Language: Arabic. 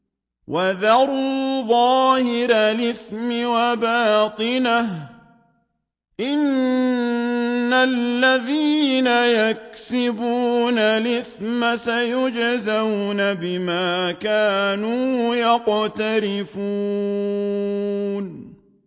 وَذَرُوا ظَاهِرَ الْإِثْمِ وَبَاطِنَهُ ۚ إِنَّ الَّذِينَ يَكْسِبُونَ الْإِثْمَ سَيُجْزَوْنَ بِمَا كَانُوا يَقْتَرِفُونَ